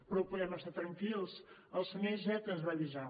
però podem estar tranquils el senyor iceta ens va avisar